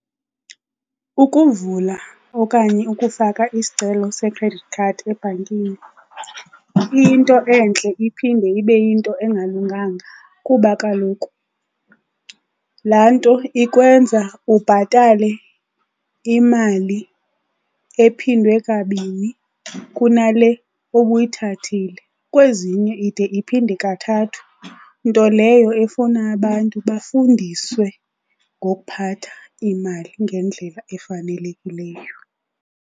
Ukuvula okanye ukufaka isicelo se-credit card ebhankini iyinto entle iphinde ibe yinto engalunganga kuba kaloku laa nto ikwenza ubhatale imali ephinde kabini kunale obuyithathile, kwezinye ide iphinde kathathu. Nto leyo efuna abantu bafundiswe ngokuphatha imali ngendlela efanelekileyo.